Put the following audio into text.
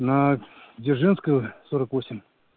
на дзержинского сорок восемь